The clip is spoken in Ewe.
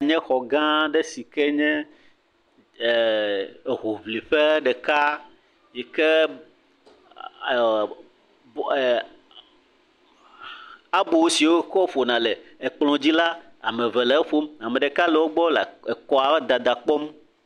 Xɔ sia nye xɔ gã aɖe sike nye hoʋliƒe ɖeka yike abo si wokɔ ƒona le kplɔ dzi la ame eve le ƒom ɖeka le wogbɔ le kɔa dada kpɔm